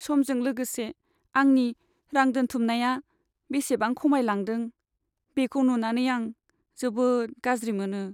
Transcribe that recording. समजों लोगोसे आंनि रां दोनथुमनाया बेसेबां खमायलांदों, बेखौ नुनानै आं जोबोद गाज्रि मोनो।